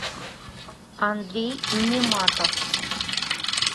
андрей нематов